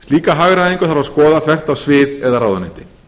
slíka hagræðingu þarf að skoða þvert á svið eða ráðuneyti